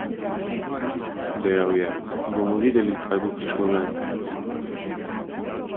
Dejal je: "Bomo videli, kaj bo prišlo ven.